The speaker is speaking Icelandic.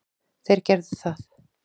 Þeir gerðu það.